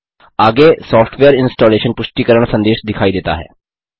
आगे software installation पुष्टिकरण संदेश दिखाई देता है